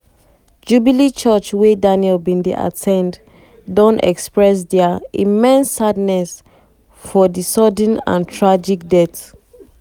jubilee church wey daniel bin dey at ten d dey at ten d don express dia "immense sadness" for di "sudden and tragic death".